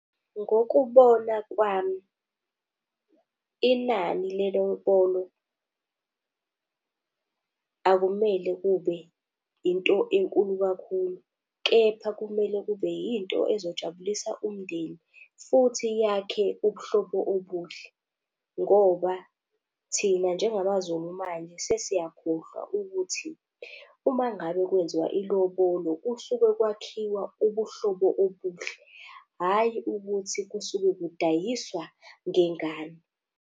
Ngokubona kwami, inani lelobolo akumele kube into enkulu kakhulu, kepha kumele kube yinto ezojabulisa umndeni futhi yakhe ubuhlobo obuhle. Ngoba thina njengamaZulu manje sesiyakhohlwa ukuthi uma ngabe kwenziwa ilobolo kusuke kwakhiwa ubuhlobo obuhle, hhayi ukuthi kusuke kudayiswa ngengane.